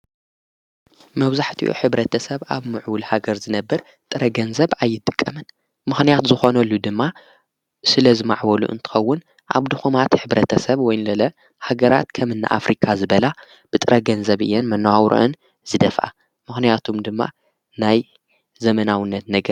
መብዛሕቲኡ ሕብረተሰብ ኣብ ምዕቡል ሃገር ዝነበር ጥረ ገንዘብ ኣይትቀምን ምኾንያት ዝኾነሉ ድማ ስለ ዝማዕወሉ እንትኸውን ኣብ ድኾማት ሕብረተሰብ ወይንለለ ሃገራት ከምእናኣፍሪካ ዝበላ ብጥረገንዘብ እየን መነዋውርኣን ዝደፋኣ ምኽንያቱም ድማ ናይ ዘመናውነት ነገር።